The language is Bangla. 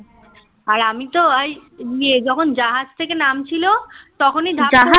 আর আমি তো যখন জাহাজ থেকে নামছিলো তখনই